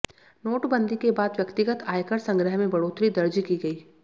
नोटबंदी के बाद व्यक्तिगत आयकर संग्रह में बढ़ोतरी दर्ज की गई